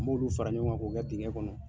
m'olu fara ɲɔgɔn kan k'o kɛ dingɛn kɔnɔ.